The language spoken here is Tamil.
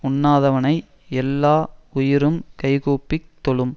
உண்ணாதவனை எல்லா உயிரும் கைகூப்பிக் தொழும்